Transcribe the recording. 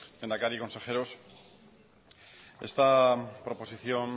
lehendakari consejeros esta proposición